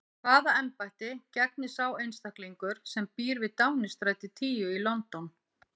Hvaða embætti gegnir sá einstaklingur sem býr við Downingstræti tíu í London?